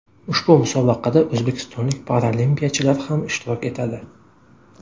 Ushbu musobaqada o‘zbekistonlik paralimpiyachilar ham ishtirok etadi.